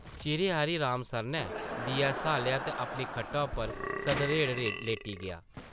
चिरें हारी राम सरनै दिया स्हालेआ ते अपनी खट्टा उप्पर सधरेड़ लेटी गेआ ।